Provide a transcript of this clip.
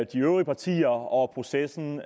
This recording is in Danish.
de øvrige partier og processen